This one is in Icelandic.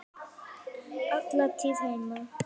Hún var alla tíð heima.